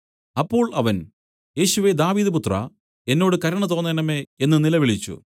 അപ്പോൾ അവൻ യേശുവേ ദാവീദുപുത്രാ എന്നോട് കരുണ തോന്നേണമേ എന്നു നിലവിളിച്ചു